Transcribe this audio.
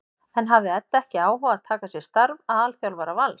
En hafði Edda ekki áhuga á að taka að sér starf aðalþjálfara Vals?